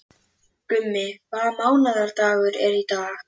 Gummi, hvaða mánaðardagur er í dag?